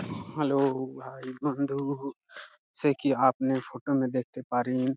Hello hi বন্ধু সে কি আপনার ফটো আমি দেখতে পারেন ।